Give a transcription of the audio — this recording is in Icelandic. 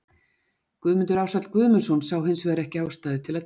Guðmundur Ársæll Guðmundsson sá hins vegar ekki ástæðu til að dæma.